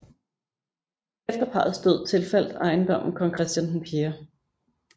Efter parrets død tilfaldt ejendommen kong Christian 4